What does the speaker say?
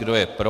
Kdo je pro.